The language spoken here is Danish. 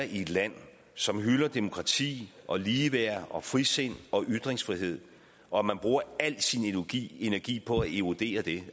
i et land som hylder demokrati og ligeværd og frisind og ytringsfrihed og at man bruger al sin energi energi på at erodere det